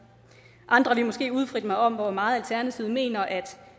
andre ville måske udfritte mig om hvor meget alternativet mener at